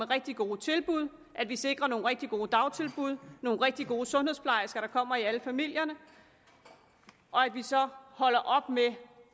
rigtig gode tilbud at vi sikrer nogle rigtig gode dagtilbud nogle rigtig gode sundhedsplejersker der kommer i alle familier og at vi så holder op med